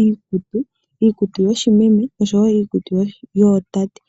iikutu, iikutu yoshimeme oshowo iikutu yoshitate.